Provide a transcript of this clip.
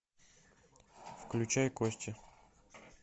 включай кости